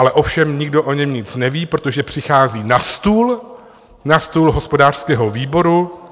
Ale ovšem nikdo o něm nic neví, protože přichází na stůl, na stůl hospodářského výboru.